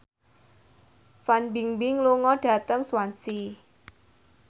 Fan Bingbing lunga dhateng Swansea